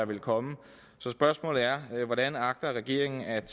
ville komme så spørgsmålet er hvordan agter regeringen at